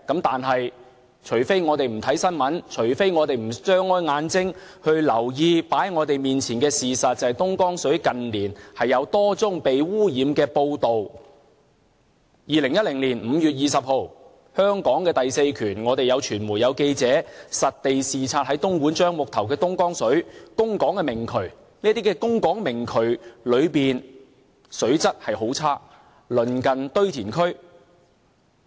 但是，除非我們不看新聞，除非我們不張開眼睛留意放在我們面前的事實，就是近年有多宗東江水被污染的報道 ：2010 年5月20日，香港的第四權，我們有傳媒和記者在東莞樟木頭實地視察東江水的供港明渠，這些供港明渠內的水質很差，鄰近堆填區。